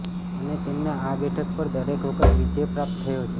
અને તેમને આ બેઠક પર દરેક વખત વિજય પ્રાપ્ત થયો છે